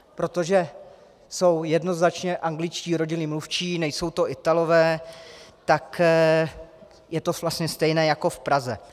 Protože jsou jednoznačně angličtí rodilí mluvčí, nejsou to Italové, tak je to vlastně stejné jako v Praze.